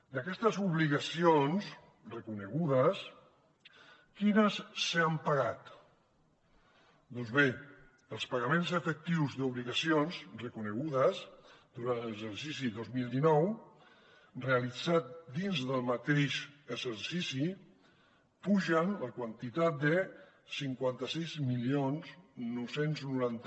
d’aquestes obligacions reconegudes quines s’han pagat doncs bé els pagaments efectius d’obligacions reconegudes durant l’exercici dos mil dinou realitzats dins del mateix exercici pugen la quantitat de cinquanta sis mil nou cents i noranta